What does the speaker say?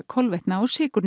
kolvetna og sykurs